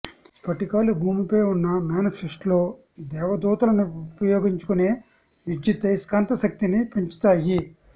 స్ఫటికాలు భూమిపై ఉన్న మానిఫెస్ట్లో దేవదూతలను ఉపయోగించుకునే విద్యుదయస్కాంత శక్తిని పెంచుతాయి